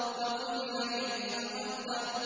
فَقُتِلَ كَيْفَ قَدَّرَ